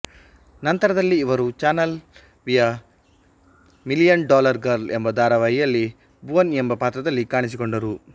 ನಂತರದಲ್ಲೀ ಇವರು ಚಾನಲ್ ವಿಯ million dollar girl ಎಂಬ ಧಾರಾವಾಹಿಯಲ್ಲಿ ಭುವನ್ ಎಂಬ ಪಾತ್ರದಲ್ಲಿ ಕಾಣಿಸಿಕೊಂಡರು